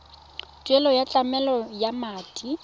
tuelo ya tlamelo ya madi